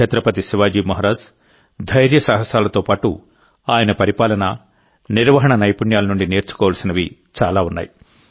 ఛత్రపతి శివాజీ మహారాజ్ ధైర్యసాహసాలతో పాటు ఆయన పరిపాలన నిర్వహణ నైపుణ్యాల నుండి నేర్చుకోవలసినవి చాలా ఉన్నాయి